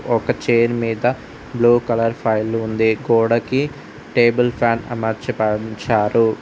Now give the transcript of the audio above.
ఒక చైర్ మీద blue colour ఫైళ్లు ఉంది గోడకి టేబుల్ ఫ్యాన్ అమర్చబడుంచారు.